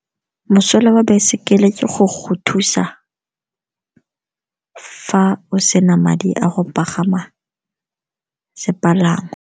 Mosola wa baesekele ke go go thusa fa o sena madi a go pagama sepalangwa.